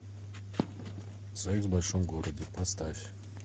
секс в большом городе поставь